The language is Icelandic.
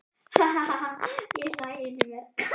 Ha ha ha ég hlæ inní mér.